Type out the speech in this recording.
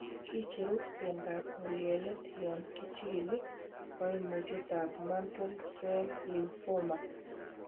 Kicheru bendap ng'ulyelet yon Kichikili koimutietab Mantle cell lymphoma.